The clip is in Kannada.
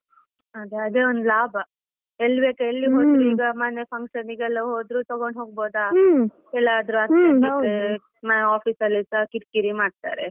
ಅದೇ ಅದೇ ಒಂದು ಲಾಭ, ಎಲ್ಲಿ ಬೇಕಾದ್ರು ಎಲ್ಲಿ ಈಗ ಮನೆ function ಗೆ ಎಲ್ಲ ಹೋದ್ರು ತಗೊಂಡು ಹೋಗಬೋದ urgent ಗೆ ಆಫೀಸಲ್ಲಿಸಾ ಕಿರಿ ಕಿರಿ ಮಾಡ್ತಾರೆ.